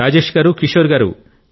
రాజేశ్ గారు కిశోర్ గారు